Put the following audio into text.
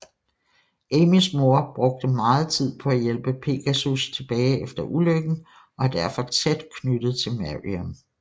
Amys mor brugte meget tid på at hjælpe Pegasus tilbage efter ulykken og er derfor tæt knyttet til Marion